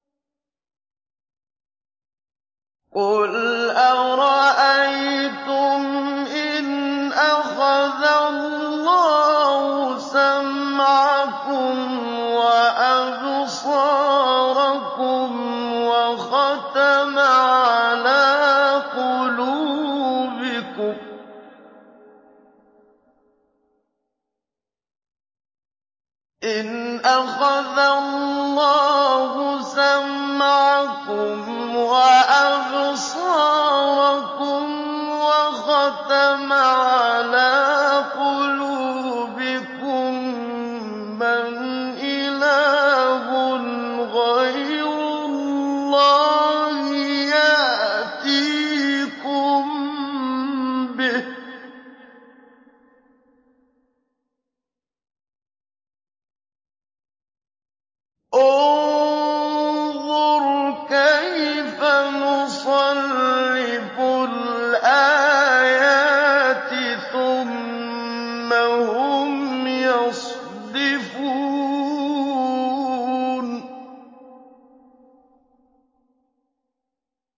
قُلْ أَرَأَيْتُمْ إِنْ أَخَذَ اللَّهُ سَمْعَكُمْ وَأَبْصَارَكُمْ وَخَتَمَ عَلَىٰ قُلُوبِكُم مَّنْ إِلَٰهٌ غَيْرُ اللَّهِ يَأْتِيكُم بِهِ ۗ انظُرْ كَيْفَ نُصَرِّفُ الْآيَاتِ ثُمَّ هُمْ يَصْدِفُونَ